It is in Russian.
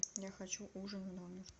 я хочу ужин в номер